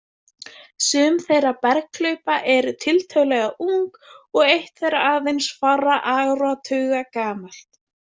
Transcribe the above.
Sum þessara berghlaupa eru tiltölulega ung og eitt þeirra aðeins fárra áratuga gamalt.